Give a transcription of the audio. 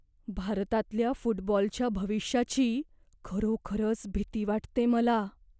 भारतातल्या फुटबॉलच्या भविष्याची खरोखरच भीती वाटते मला.